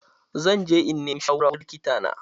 Zan je in nima shawara wurin likita na.